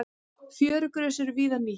Fjörugrös eru víða nýtt.